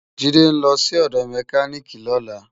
Jide n lò si òdò mèkánikí lòlá